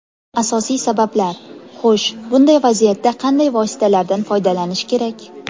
Asosiy sabablar: Xo‘sh, bunday vaziyatda qanday vositalardan foydalanish kerak?